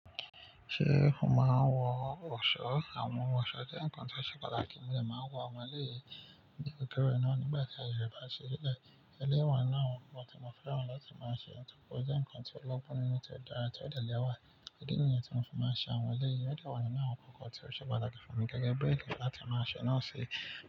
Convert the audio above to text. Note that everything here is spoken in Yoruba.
Ṣé o máa ń wọ ọ̀ṣọ́? Àwọn ọ̀ṣọ́ jẹ́ nǹkan tí ọ̀ṣẹ̀ pataki mo dẹ máa ń wọ, àwọn eleyìí ní kẹ́kẹ́rẹ́ naa nígbà tí ayẹyẹ bá ṣe lẹ́ẹ̀. Ẹlẹ́wọ̀n náà wọ tí mo fẹ́ràn láti máa ṣe, nítorí ó jẹ́ nǹkan tí ọlọ́gbọ́n nínú ti dára tó ẹ̀dẹ̀ lẹ́wà. Idi nìyàn tí mo ti máa ń ṣe àwọn ọmọ ilé yìí, ó jẹ́ ọ̀nà náà kọ́kọ́ tí ọ̀ṣẹ̀ ọlọ́kọ̀ fún mi gẹ́gẹ́ bí òǹkì láti máa ṣe, náà ṣe.